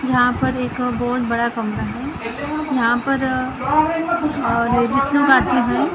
यहाँ पर एक बहुत बड़ा कमरा है यहाँ पर लोग आते है ।